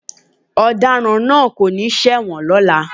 Ọ̀daràn náà kò ní ṣẹ̀wọ̀n lọ́la.